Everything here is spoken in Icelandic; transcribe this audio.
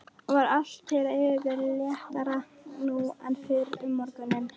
Var allt þeirra yfirbragð léttara nú en fyrr um morguninn.